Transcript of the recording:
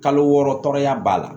Kalo wɔɔrɔ tɔɔrɔya b'a la